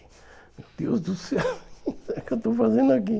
Meu Deus do céu, o que é que eu estou fazendo aqui?